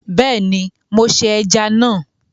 Beeni mo se eja na